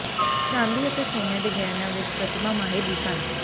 ਚਾਂਦੀ ਅਤੇ ਸੋਨੇ ਦੇ ਗਹਿਣਿਆਂ ਵਿੱਚ ਪ੍ਰਤਿਮਾ ਮਾਹਿਰ ਵੀ ਸਨ